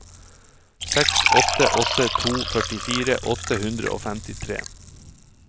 seks åtte åtte to førtifire åtte hundre og femtitre